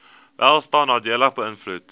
welstand nadelig beïnvloed